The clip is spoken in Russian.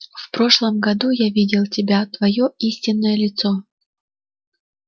в прошлом году я видел тебя твоё истинное лицо